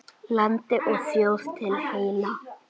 Landi og þjóð til heilla!